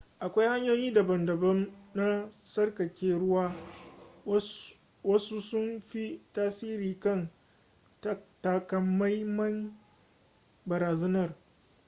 akwai hanyoyi daban-daban na tsarkake ruwa wasu sun fi tasiri kan takamaiman barazanar